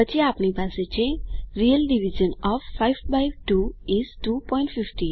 પછી આપણી પાસે છે real division of 5 by 2 is 250